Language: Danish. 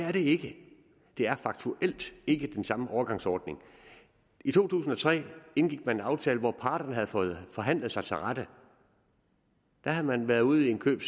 er det ikke det er faktuelt ikke den samme overgangsordning i to tusind og tre indgik man en aftale hvor parterne havde fået forhandlet sig til rette der havde man været ude i en køb